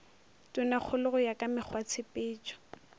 tonakgolo go ya ka mekgwatshepetšo